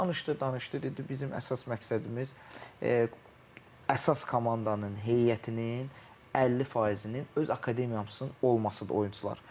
Danışdı, danışdı, dedi bizim əsas məqsədimiz əsas komandanın heyətinin 50 faizinin öz akademiyasının olmasıdır oyunçular.